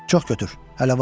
Çox götür, hələ var.